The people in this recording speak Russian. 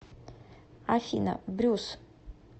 афина брюс